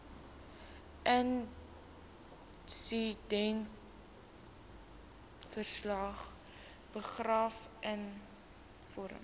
insidentverslag begrafnisrekenings vorm